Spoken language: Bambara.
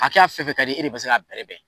A kɛ y'a fɛn fɛn ka di e de se k'a bɛrɛbɛn